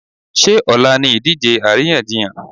Ṣé ọ̀la ni ìdíje àríyànjiyàn?